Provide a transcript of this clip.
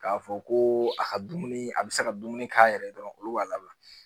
K'a fɔ ko a ka dumuni a bɛ se ka dumuni k'a yɛrɛ ye dɔrɔn olu b'a labila